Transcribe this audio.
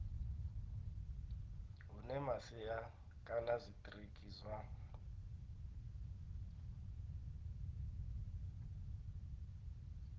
hune masia kana zwitiriki zwa